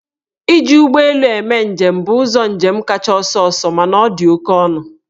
Iji ụgbọ elu eme njem bụ ụzọ njem kacha ọsọọsọ mana ọ dị oke ọnụ.